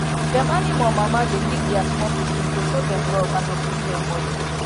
dem animal mama dey lick their small pikin to show dem love and to clean dem bodi